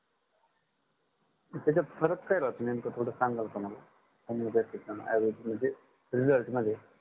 त्याचात फरक काय राहतो नेमक थोड सांगाल का मला homeopathic आणि आयुर्वेदिक म्हणजे result मध्ये